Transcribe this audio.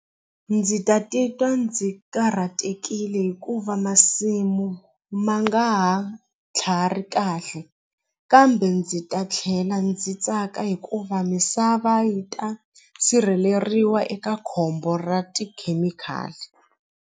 Ndzi ta titwa ndzi karhatekile hikuva masimu ma nga ha kahle kambe ndzi ta tlhela ndzi tsaka hikuva misava yi ta sirheleriwa eka khombo ra tikhemikhali.